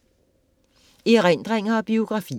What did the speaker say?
Erindringer og biografier